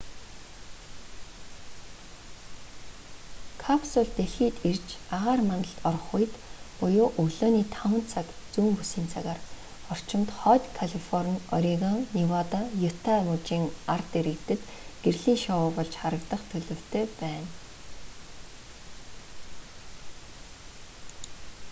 капсул дэлхийд ирж агаар мандалд орох үед буюу өглөөний 5 цаг зүүн бүсийн цагаар орчимд хойд калифорни орегон невада юта мужийн ард иргэдэд гэрлийн шоу болж харагдах төлөвтэй байна